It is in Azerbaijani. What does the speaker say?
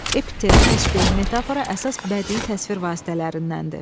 Epitet, təşbeh, metafora əsas bədii təsvir vasitələrindəndir.